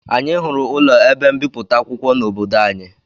Anyị hụrụ ụlọ ebe mbipụta akwụkwọ n'obodo anyị